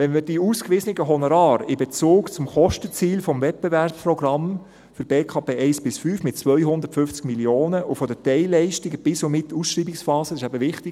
Wenn wir die ausgewiesenen Honorare in Bezug zum Kostenziel des Wettbewerbsprogramms für den Baukostenplan (BKP) 1–5 mit 250 Mio. Franken und zu den Teilleistungen bis und mit Ausschreibungsphase setzen – dies ist eben wichtig;